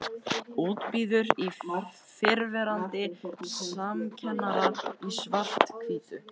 Útbíuð í fyrrverandi samkennara í svarthvítu.